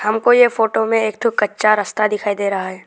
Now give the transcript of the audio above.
हमको ये फोटो में एक ठो कच्चा रास्ता दिखाई दे रहा है।